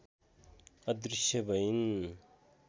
अदृश्य भइन्